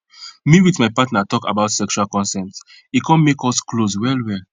me with my partner talk about sexual consent e come make us close well well